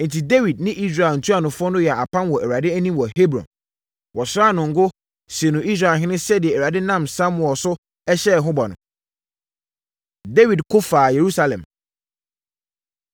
Enti, Dawid ne Israel ntuanofoɔ no yɛɛ apam wɔ Awurade anim wɔ Hebron. Wɔsraa no ngo, sii no Israelhene sɛdeɛ Awurade nam Samuel so hyɛɛ ho bɔ no. Dawid Ko Faa Yerusalem